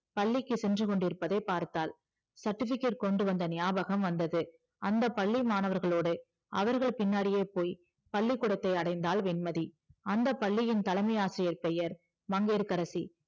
பள்ளிக்கு சென்று கொண்டிருப்பதை பார்த்தால் certificate கொண்டு வந்தா ஞாபகம் வந்தது அந்த பள்ளி மாணவர்களோடு அவர்கள் பின்னாடியே போய் பள்ளிகுடத்தை அடைந்தாள் வெண்மதி அந்த பள்ளியின் தலைமை ஆசிரியர் பெயர் மங்கையகரசி